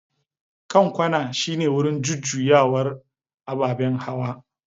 Kan kwana shine wurin jujjuyawar ababen hawa.